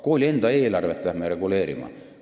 Kooli enda eelarvet hakkame reguleerima!